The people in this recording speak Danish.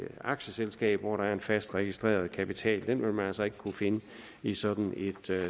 aktieselskab hvor der er en fast registreret kapital den vil man altså ikke kunne finde i sådan et